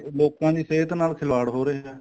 ਲੋਕਾਂ ਦੀ ਸਹਿਤ ਨਾਲ ਖਿਲਵਾੜ ਹੋ ਰਿਹਾ